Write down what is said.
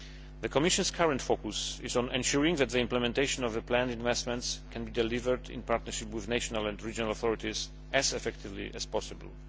The Commission's current focus is on ensuring that the implementation of the planned investments can be delivered in partnership with national and regional authorities as effectively as possible.